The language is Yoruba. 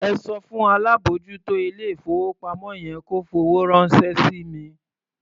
Ẹ sọ fún alábòójútó ilé-ìfowópamọ́ yẹn kó fowó ránṣẹ́ sí mi.